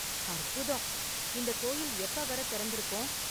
அற்புதம்; இந்த கோயில் எப்ப வரை திறந்திருக்கும்?